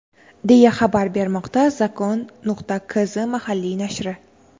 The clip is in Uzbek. deya xabar bermoqda Zakon.Kz mahalliy nashri.